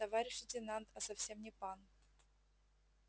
товарищ лейтенант а совсем не пан